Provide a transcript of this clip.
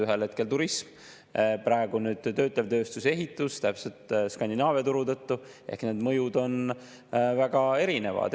Ühel hetkel turism, praegu töötlev tööstus ja ehitus, just Skandinaavia turu tõttu, ehk need mõjud on väga erinevad.